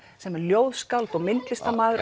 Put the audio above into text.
sem er ljóðskáld myndlistarmaður